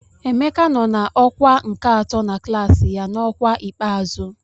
Emeka nọ na ọkwa nke atọ na klaasị ya n'ọkwa ikpeazụ.